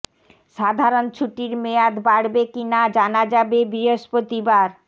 সাধারণ ছুটির মেয়াদ বাড়বে কি না জানা যাবে বৃহস্পতিবার